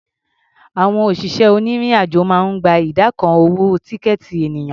Àwọn òṣìṣẹ́ onírìn-àjò máa ń gba ìdá kan owó tíkẹ̀ẹ̀tì ènìyàn.